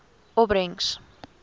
opbrengs